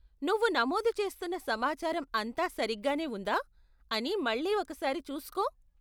నువ్వు నమోదు చేస్తున్న సమాచారం అంతా సరిగ్గానే ఉందా అని మళ్ళీ ఒక సారి చూసుకో.